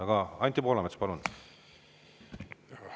Aga Anti Poolamets, palun!